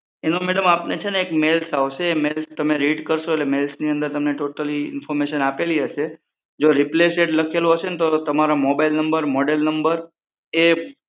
એનો મેડમ આપને એક ઇમેલ આવશે એ ઇમેલ તમે રીડ કરશો એ મેઈલ ઇન્ફોર્મેશન આપેલી હશે જો રીપ્લેસેડ લખેલું હશે તો તેમાં mobile નંબર મોડેલ નંબર